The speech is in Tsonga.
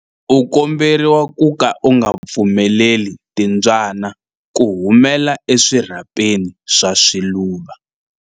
U komberiwa ku ka u nga pfumeleli timbyana ku humela eswirhapeni swa swiluva.